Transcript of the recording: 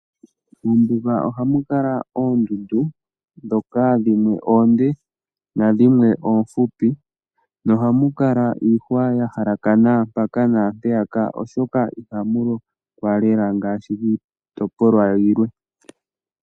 Mombuga oha mu kala oondundu ndhoka dhimwe oonde na dhimwe oofupi, na oha mukala iihwa ya halakana mpaka na mpeyaka, oshoka ihamu lokwa lela ngaashi kiitopolwa yilwe.